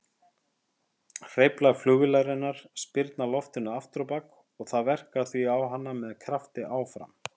Hreyflar flugvélarinnar spyrna loftinu afturábak og það verkar því á hana með krafti áfram.